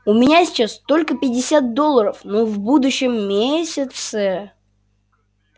у меня сейчас только пятьдесят долларов но в будущем месяце